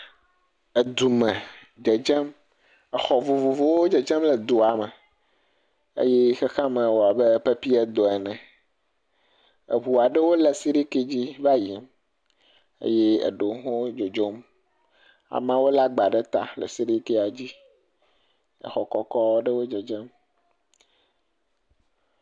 Edu me dzedzem exɔ vovovovowo dzedzem le dua me, eye xexeame wɔwɔm abe pepi ene eŋu aɖewo le siriki dzi va yiyim, eye eɖewo hã dzodzom ameawo lé agba ɖe ta le sirikia dzi.